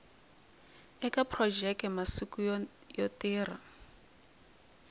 eka phurojeke masiku yo tirha